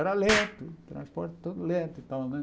Era lento, transporte todo lento e tal, né?